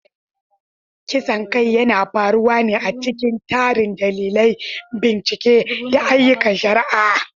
Kisan kai yana faruwa ne a cikin tarin dalilai, bincike, da ayyukan shari'a.